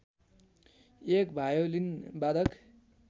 एक भायोलिन वादक